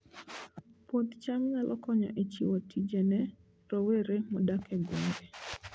Puoth cham nyalo konyo e chiwo tije ne rowere modak e gwenge